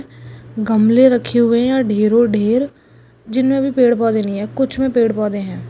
गमले रखे हुआ है ढेरों ढेर जिनमे भी पेड पोधे नहीं है कूछ में पेड पौधे है।